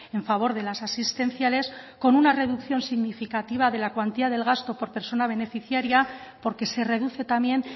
en favor de las asistenciales con una reducción significativa de la cuantía del gasto por persona beneficiaria porque se reduce también